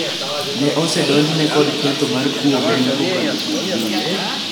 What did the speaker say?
ne osedonjne kod ketho mar kuo omenda kokalo kuom Mbui,